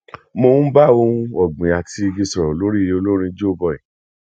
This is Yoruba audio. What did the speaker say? mo ń bá ohun ọgbìn àti igi sọrọ olórin joeboy